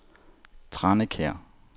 Tranekær